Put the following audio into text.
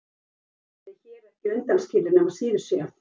Hjónabandið er hér ekki undanskilið nema síður sé.